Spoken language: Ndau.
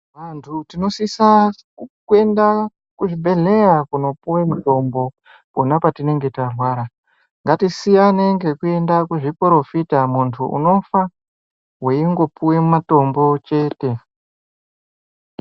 Vantu tinosisa kuenda kuzvibhedhleya, kunopuwe mutombo pona patinenge tarwara. Ngatisiyane ngekuenda kuzviporofita, muntu unofa, weingopuwe mutombo chete.